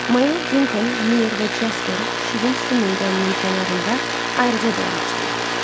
Mayor Dunkan, Myor və Jasper şirin su meydanının kənarında ayrıca dayanmışdılar.